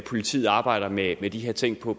politiet arbejder med med de her ting på